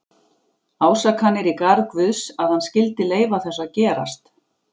Ásakanir í garð Guðs, að hann skyldi leyfa þessu að gerast.